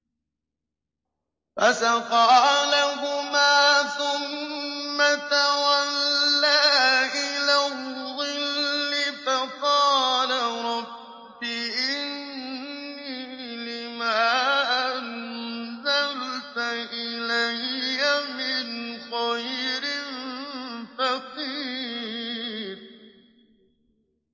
فَسَقَىٰ لَهُمَا ثُمَّ تَوَلَّىٰ إِلَى الظِّلِّ فَقَالَ رَبِّ إِنِّي لِمَا أَنزَلْتَ إِلَيَّ مِنْ خَيْرٍ فَقِيرٌ